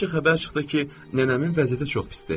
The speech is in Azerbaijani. Əvvəlcə xəbər çıxdı ki, nənəmin vəziyyəti çox pisdir.